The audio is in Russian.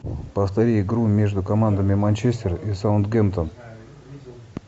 повтори игру между командами манчестер и саутгемптон